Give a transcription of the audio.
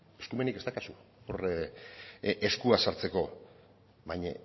eskumenik ez daukazu hor eskua sartzeko baina